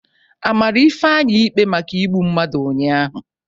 A mara Ifeanyị ikpe maka igbu mmadụ ụnyahụ?